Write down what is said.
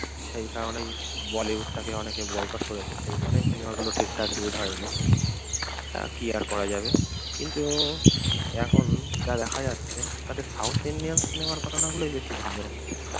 সেই কারণেই বলিউডটাকে অনেকে বয়কট করেছে, সেই কারণেই সিনেমাগুলো ঠিক ঠাক হিট হয়নি। তা কি আর করা যাবে? কিন্তু এখন যা দেখা যাচ্ছে তাতে সাউথ ইন্ডিয়ান সিনেমার ঘটনাগুলাই বেশি ভালো হচ্ছে।